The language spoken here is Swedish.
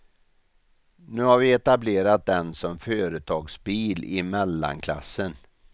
Nu har vi etablerat den som företagsbil i mellanklassen.